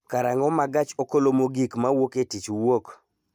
karang�o ma gach okolomogik ma wuok e tich wuok?